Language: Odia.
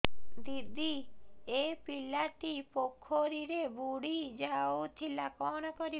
ଦିଦି ଏ ପିଲାଟି ପୋଖରୀରେ ବୁଡ଼ି ଯାଉଥିଲା କଣ କରିବି